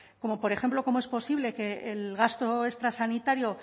como por ejemplo cómo es posible que el gasto extra sanitario